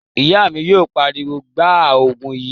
Ìyá mi yóò pariwo, 'Gbaa Ògùn yìí!'